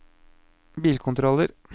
bilkontroller